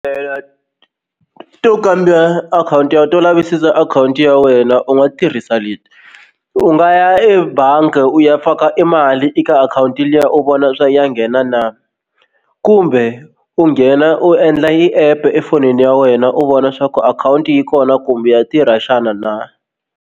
To kamba akhawunti ya to lavisisa akhawunti ya wena u nga tirhisa leti u nga ya ebangi u ya faka i mali eka akhawunti liya u vona swa ya nghena na kumbe u nghena u endla i app efonini ya wena u vona swa ku akhawunti yi kona kumbe ya tirha xana na.